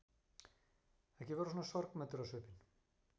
Ekki vera svona sorgmæddur á svipinn.